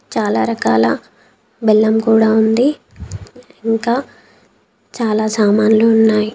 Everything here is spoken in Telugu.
చాలా రకాల బెల్లం కూడా ఉంది. ఇంకా చాలా సామాన్లు ఉన్నాయి.